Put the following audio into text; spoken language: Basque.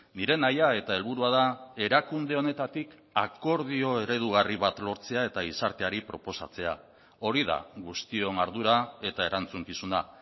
nire nahia eta helburua da erakunde honetatik akordio eredugarri bat lortzea eta gizarteari proposatzea hori da guztion ardura eta erantzukizuna